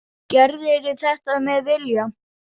Gerðirðu þetta með vilja?